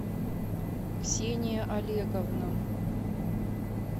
ксения олеговна